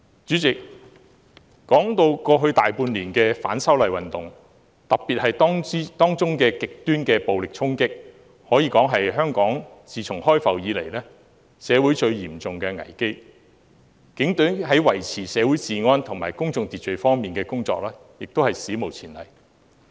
主席，過去大半年以來的反修例運動，特別是當中的極端暴力衝擊，可說是自香港開埠以來社會最嚴重的危機，警隊在維持社會治安及公眾秩序方面的工作亦是史無前例。